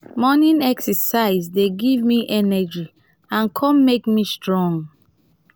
morning exercise dey give me energy and come make me strong.